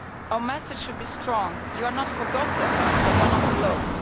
Our message should be strong you are not forgotten and you are not alone.